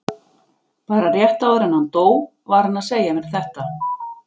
Bara rétt áður en hann dó var hann að segja mér þetta.